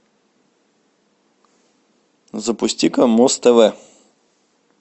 запусти ка муз тв